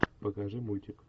покажи мультик